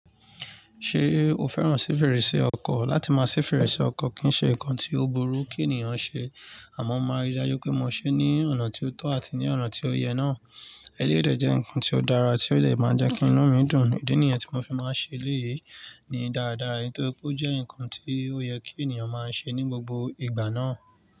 Ṣé o fẹ́ràn sí fèrèsé ọkọ̀? Látí máa ṣí fèrèsé ọkọ̀ kì í ṣe nǹkan tí ó burú kí ènìyàn ṣe, àmọ́ màá rí i dájú pé mo ṣe é ní ọ̀nà tí ó tọ́ àti ní ọ̀nà tí ó yẹ náà. Eleyi dẹ jẹ́ nǹkan tí ó dára tí ó dẹ̀ máa njẹ́ kí inú mi dùn. Ìdí nìyẹn tí mo fi máa ń ṣe eleyi ní dáradára, nítorí pé ó jẹ́ nǹkan tí ó yẹ kí ènìyàn máa ṣe ní gbogbo ìgbà náà.